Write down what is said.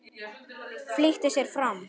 Flýtti sér fram.